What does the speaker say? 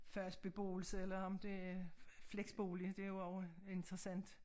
Fast beboelse eller om det flexbolig det jo også interessant